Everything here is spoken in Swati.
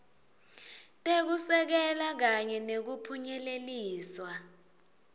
tekusekela kanye nekuphunyeleliswa